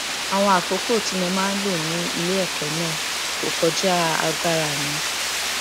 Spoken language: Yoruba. àwọn àkókò tí mo máa ń lò ní ilé èkó náà kò kọjá agbára mi